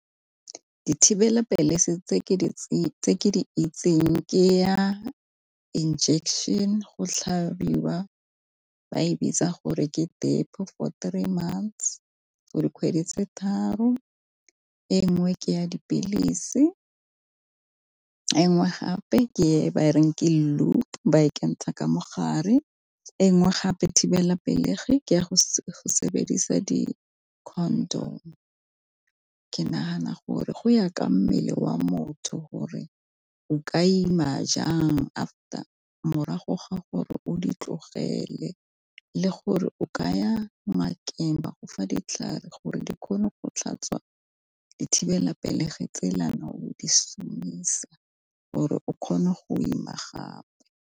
Dithibelapelegi se tse ke di tse ke di itseng ke ya injection go tlhabiwa ba e bitsa gore ke depo for months for dikgwedi tse tharo, e nngwe ke ya dipilisi, engwe gape ke e ba reng ke loop ba ekentsha ka mogare, e nngwe gape thibelapelegi ke ya go sebedisa Di -condom. Ke nagana gore go ya ka mmele wa motho gore o ka ima jang after morago ga gore o di tlogele, le gore o kaya ngakeng ba gofa ditlhare gore di kgone go tlhatswa dithibelapelegi tsela ne o di šomisa gore o kgone go ima gape.